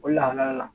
O lahala la